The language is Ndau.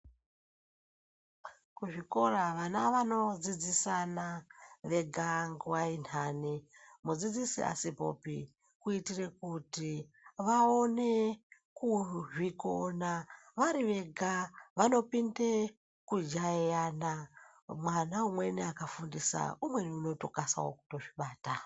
Kuzvikora vana vanodzidzisana vega nguwa inhani mudzidzisi asipopi kuitire kuti vaone kuzvikona. Varivega vanopinde kujaiyana mwana umweni akafundisa umweni unokasawo kuzvibata.